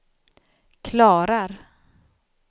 klarar